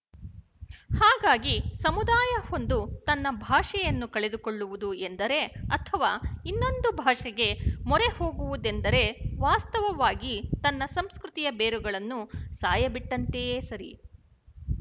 ಹಾಗಾಗಿ ಸಮುದಾಯವೊಂದು ತನ್ನ ಭಾಷೆಯನ್ನು ಕಳೆದುಕೊಳ್ಳುವುದು ಎಂದರೆ ಅಥವಾ ಇನ್ನೊಂದು ಭಾಷೆಗೆ ಮೊರೆಹೋಗುವುದೆಂದರೆ ವಾಸ್ತವವಾಗಿ ತನ್ನ ಸಂಸ್ಕೃತಿಯ ಬೇರುಗಳನ್ನು ಸಾಯಬಿಟ್ಟಂತೆಯೇ ಸರಿ